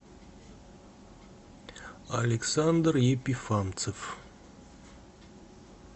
александр епифанцев